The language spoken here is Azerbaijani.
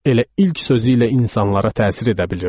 Elə ilk sözü ilə insanlara təsir edə bilirdi.